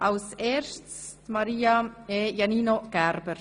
Als Erstes zur Verabschiedung von Maria Iannino Gerber.